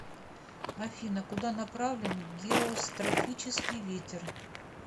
афина куда направлен геострофический ветер